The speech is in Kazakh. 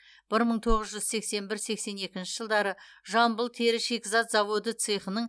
бір мың тоғыз жүз сексен бір сексен екінші жылдары жамбыл тері шикізат заводы цехының